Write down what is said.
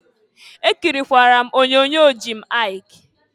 Ekirikwara m onyoonyo Jim Aịk.